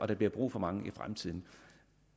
der bliver brug for mange i fremtiden